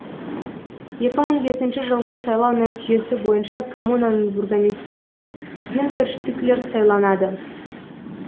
екі мың бесінші жылғы сайлау нәтижесі бойынша коммунаның бургомистрі болып гюнтер штиклер сайланады